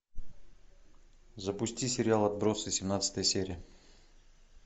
запусти сериал отбросы семнадцатая серия